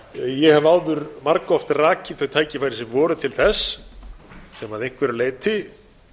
ég hef áður margoft rakið þau tækifæri sem voru til þess sem að einhverju leyti